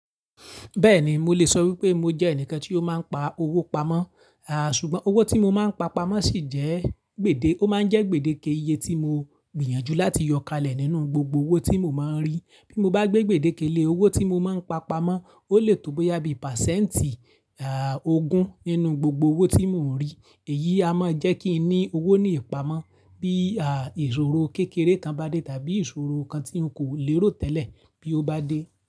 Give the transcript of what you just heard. Bẹ́ẹ̀ni, mo lè sọ wípé mo jẹ́ ẹnìkan tí ó máa ń pa owó pamọ́, ṣùgbọ́n owó tí mo máa ń pa pamọ́ sì jẹ́ gbèdé, ó máa ń jẹ́ gbèdéke iye tí mo gbìyànjú láti yọkalẹ̀ nínú gbogbo owó tí mo máa ń rí. Bí mo bá gbé gbèdéke lé owó tí mo máa ń pa pamọ́, ó lè tó bo yá bí percent ogún nínú gbogbo owó tí mò ń rí. Èyí a máa jẹ́ kí n ní owó ní ìpamọ́ bí ìṣòro kékeré kan bá dé tàbí ìṣòro kan tí n kò lérò tẹ́lẹ̀ bí ó bá dé.